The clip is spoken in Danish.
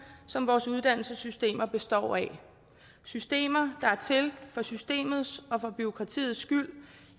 som vores uddannelsessystemer består af systemer der er til for systemernes og for bureaukratiets skyld